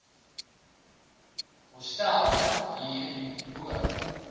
hostel hier bo